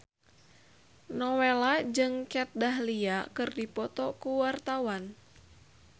Nowela jeung Kat Dahlia keur dipoto ku wartawan